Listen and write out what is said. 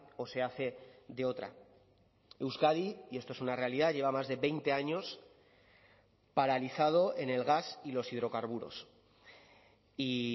o se hace de otra euskadi y esto es una realidad lleva más de veinte años paralizado en el gas y los hidrocarburos y